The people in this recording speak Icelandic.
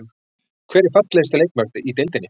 Hver er fallegasti leikmaðurinn í deildinni?